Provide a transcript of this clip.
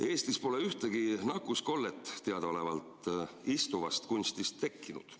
Eestis pole teadaolevalt ühtegi nakkuskollet istuvast kunstist tekkinud.